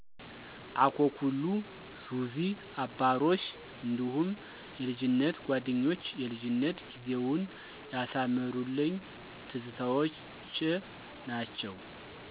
አኮኩሉ፣ ዙዚ፣ አባሮሽ እንዲሁም የልጅነት ጓደኞች የልጅነት ጊዜውን ያሳመሩልኘ ትዝታዎችዎ ናቸው።